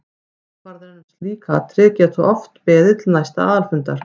Ákvarðanir um slík atriði geta þó oft beðið til næsta aðalfundar.